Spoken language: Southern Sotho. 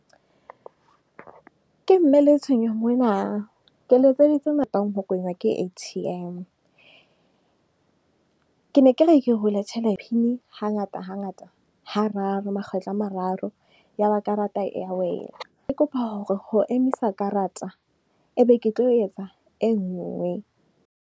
Ke mme Letshwenyo mona, ke letseditse ho kwenywa ke A_T_M. Ke ne ke re ke hule hangata hangata, hararo makgetlo a mararo. Ya ba karata e ya wela, ke kopa hore ho emisa karata, e be ke tlo etsa e nngwe.